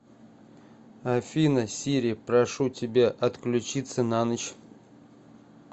афина сири прошу тебя отключиться на ночь